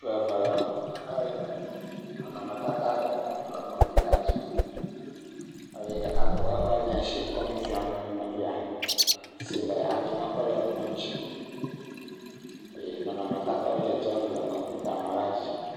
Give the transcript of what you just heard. Ŋutsu eve wole xɔ me hele nɔnɔme tata aɖe kpɔm le kɔmpita dzi eye ɖeka kɔ eƒe mía si kɔ nu fiam me nɔvia si le anyi nɔƒe le kplɔa dzi eye nɔnɔme tatawo nɔ dzedzem le kɔmpita mɔ la dzi.